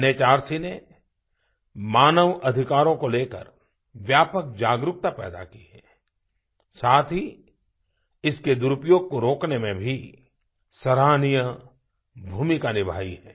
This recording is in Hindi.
एनएचआरसी ने मानव अधिकारों को लेकर व्यापक जागरूकता पैदा की है साथ ही इसके दुरुपयोग को रोकने में भी सराहनीय भूमिका निभाई है